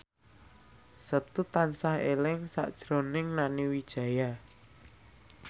Setu tansah eling sakjroning Nani Wijaya